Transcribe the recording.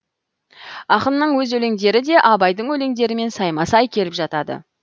ақынның өз өлеңдері де абайдың өлеңдерімен сайма сай келіп жатады